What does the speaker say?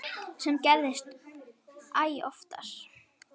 Sem gerist æ oftar.